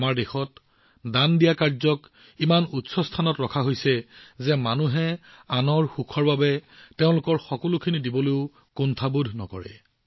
আমাৰ দেশত নিস্বাৰ্থ দান পৰমাৰ্থক ইমান উচ্চ স্থান দিয়া হৈছে যে মানুহে আনৰ সুখৰ বাবে তেওঁলোকৰ সকলো দান কৰিবলৈ কুণ্ঠাবোধ নকৰে